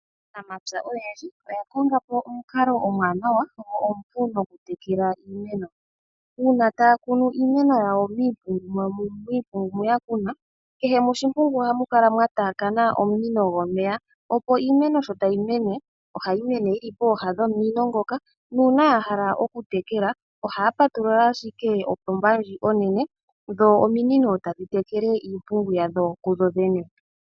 Aanamapya oyendji oya kongapo omukalo omuwanawa na omupu oku tekela iimeno, uuna tay kunu iimeno yawo miimpungu moka ya kuna, kehe moshimpungu ohamu kala mwa tayakana omunino gomeya opo iimeno sho tayi mene, ohayi mene yili pooha nomunino ngoka, nuuna yahala oku tekela ohay patulula ashike opomba ndjoka onene, dho ominino tadhi tekele iimpungu yadho kudhi dhene.